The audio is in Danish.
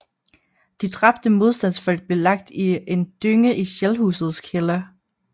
De dræbte modstandsfolk blev lagt i en dynge i Shellhusets kælder